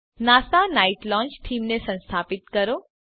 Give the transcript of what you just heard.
NASA night launch થીમને સંસ્થાપિત કરો